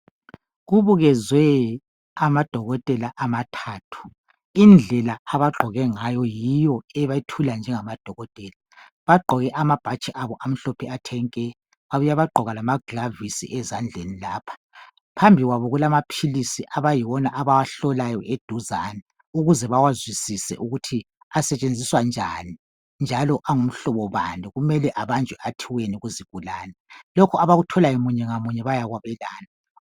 Kubukezwe amadokotela amathathu. Indlela abagqoke ngayo yiyo ebethula njengamadokotela. Bagqoke amabhatshi abo amhlophe athe nke. Babuya bagqoka lama glavisi ezandleni lapha. Phambi kwabo kulamaphilisi abayiwona abawahlolayo eduzane ukuze bawazwisise ukuthi asetshenziswa njani njalo angumhlobo bani. Kumele abanjwe athiweni kuzigulani. Lokho abakutholayo munye ngamunye bayakwabelana.